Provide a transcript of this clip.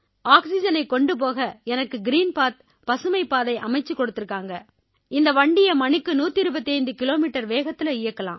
ஆக்சிஜனைக் கொண்டு போக எனக்கு கிரீன் பத் பசுமைப் பாதை அமைச்சுக் கொடுத்திருக்காங்க இந்த வண்டியை மணிக்கு 125 கிலோமீட்டர் வேகத்தில இயக்கலாம்